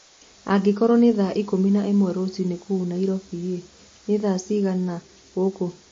angĩkorwo ni thaa ĩkũmĩ na ĩmwe rũciini kuũ nyairobi ni thaa cĩĩgana gukũ